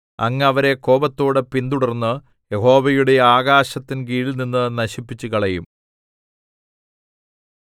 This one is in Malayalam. അങ്ങ് അവരെ കോപത്തോടെ പിന്തുടർന്ന് യഹോവയുടെ ആകാശത്തിൻ കീഴിൽനിന്ന് നശിപ്പിച്ചുകളയും